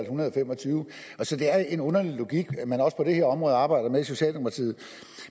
hundrede og fem og tyve så det er en underlig logik man også på det her område arbejder med i socialdemokratiet